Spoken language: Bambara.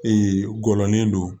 gɔlɔnin don